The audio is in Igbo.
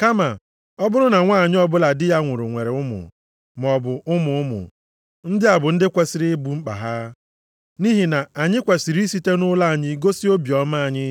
Kama ọ bụrụ na nwanyị ọbụla di ya nwụrụ nwere ụmụ, maọbụ ụmụ ụmụ, ndị a bụ ndị kwesiri ibu mkpa ha. Nʼihi na anyị kwesiri isite nʼụlọ anyị gosi obiọma anyị